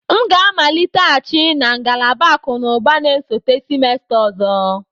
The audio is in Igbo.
M ga-amaliteghachi na ngalaba akụ na ụba na-esote semester ọzọ.